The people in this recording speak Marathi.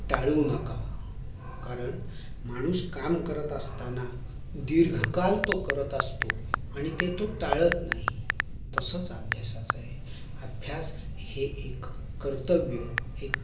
टाळू नका कारण माणूस काम करत असताना दीर्घ काळ तो करत असतो आणि तो ते टाळत नाही तसंच अभ्यासाचं आहे अभ्यास हे एक कर्त्यव्य